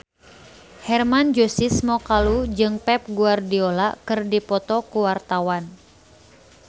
Hermann Josis Mokalu jeung Pep Guardiola keur dipoto ku wartawan